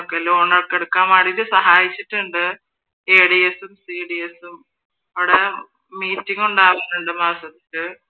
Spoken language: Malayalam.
ലോണൊക്കെ എടുക്കാൻ വേണ്ടിട്ട് സഹായിച്ചിട്ടുണ്ട് ADS ഉം CDS ഉം അവിടെ മീറ്റിംഗ് ഉണ്ടാകാറുണ്ട് മാസത്തിൽ